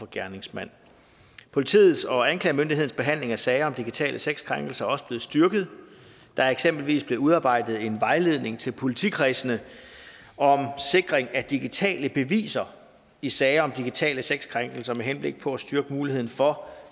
gerningsmand politiets og anklagemyndighedens behandling af sager om digitale sexkrænkelser er også blevet styrket der er eksempelvis blevet udarbejdet en vejledning til politikredsene om sikring af digitale beviser i sager om digitale sexkrænkelser med henblik på at styrke muligheden for